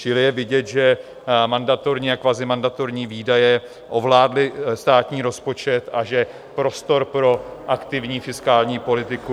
Čili je vidět, že mandatorní a kvazimandatorní výdaje ovládly státní rozpočet a že prostor pro aktivní fiskální politiku...